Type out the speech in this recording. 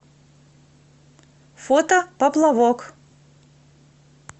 фото поплавок